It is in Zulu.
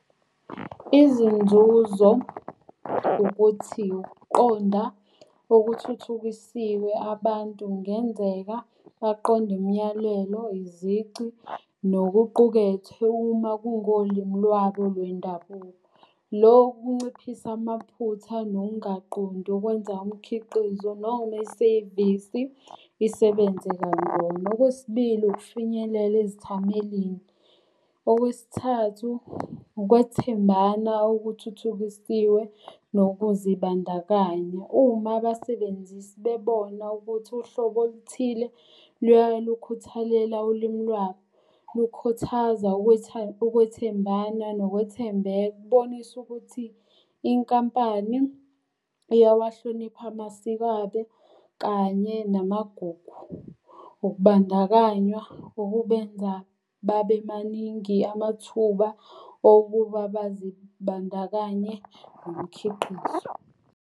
Izinzuzo ukuthi ukuqonda okuthuthukisiwe abantu kungenzeka baqonde imiyalelo, izici, nokuqukethwe uma kungolimi lwabo lwendabuko. Lokhu kunciphisa amaphutha nokungaqondi okwenza umkhiqizo noma isevisi isebenze kancono. Okwesibili ukufinyelela ezithamelini. Okwesithathu, ukwethembana okuthuthukisiwe nokuzibandakanya uma abasebenzisi bebona ukuthi uhlobo oluthile luyalukhuthalela ulimi lwabo, kukhuthaza ukwethembana nokwethembeka. Kubonisa ukuthi inkampani iyawahlonipha amasiko abe kanye namagugu. Ukubandakanywa okubenza babe maningi amathuba okuba bazibandakanye nomkhiqizo.